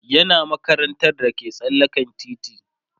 yana makarantar da ke tsallaken titi